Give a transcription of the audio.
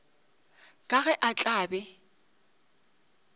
ka ge a tla be